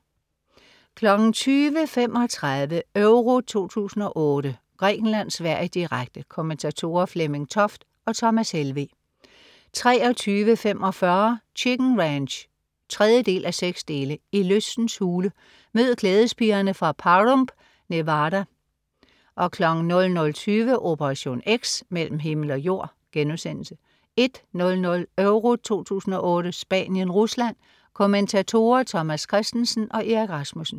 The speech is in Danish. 20.35 EURO 2008: Grækenland-Sverige, direkte. Kommentatorer: Flemming Toft og Thomas Helveg 23.45 Chicken Ranch 3:6. I lystens hule. Mød glædespigerne fra Pahrump, Nevada 00.20 Operation X: Mellem himmel og jord* 01.00 EURO 2008: Spanien-Rusland. Kommentatorer: Thomas Kristensen og Erik Rasmussen